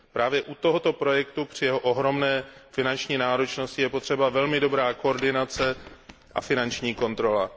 Právě u tohoto projektu při jeho ohromné finanční náročnosti je potřeba velmi dobrá koordinace a finanční kontrola.